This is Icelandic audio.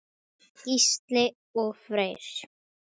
Gísli og Freyr.